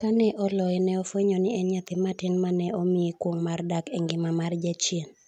Ka ne oloye, ne ofwenyo ni en nyathi matin ma ne omiye kuong’ mar dak e ngima mar jachien.